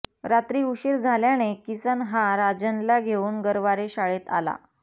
रात्री उशीर झाल्याने किसन हा राजनला घेऊन गरवारे शाळेत आला